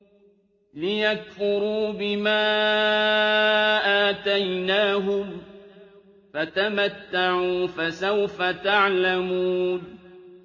لِيَكْفُرُوا بِمَا آتَيْنَاهُمْ ۚ فَتَمَتَّعُوا ۖ فَسَوْفَ تَعْلَمُونَ